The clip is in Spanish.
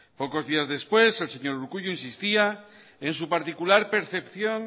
pocos días después el señor urkullu insistía en su particular percepción